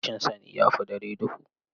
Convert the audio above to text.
Rashin sani, ya fi dare duhu.